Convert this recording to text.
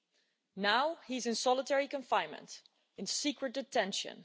He is now in solitary confinement in secret detention.